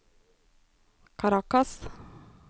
Caracas